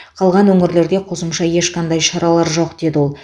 қалған өңірлерде қосымша ешқандай шаралар жоқ деді ол